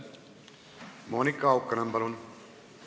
Monika Haukanõmm, palun!